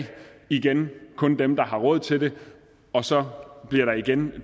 igen er kun dem der har råd til det og så bliver der igen